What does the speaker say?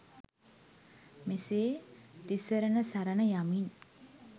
මෙසේ තිසරණ සරණ යමින්